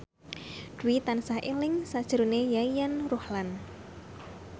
Dwi tansah eling sakjroning Yayan Ruhlan